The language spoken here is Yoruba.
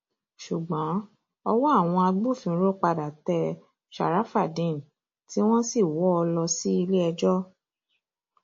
ṣùgbọn ọwọ àwọn agbófinró padà tẹ ṣàràfàdéèn tí wọn sì wọ ọ lọ síléẹjọ